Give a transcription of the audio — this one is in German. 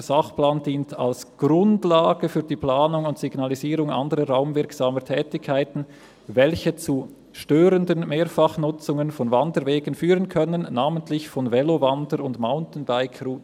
«Der Sachplan dient als Grundlage für die Planung und Signalisierung anderer raumwirksamer Tätigkeiten, welche zu störenden Mehrfachnutzungen von Wanderwegen führen können, namentlich von Velowander- und Mountainbike-Routen.